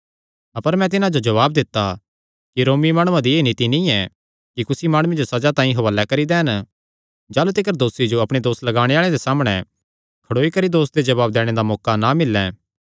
अपर मैं तिन्हां जो जवाब दित्ता कि रोमी माणुआं दी एह़ रीति नीं ऐ कि कुसी माणुये जो सज़ा तांई हुआलैं करी दैन जाह़लू तिकर दोसी जो अपणे दोस लगाणे आल़ेआं दे सामणै खड़ोई करी दोस दे जवाब दैणे दा मौका ना मिल्लैं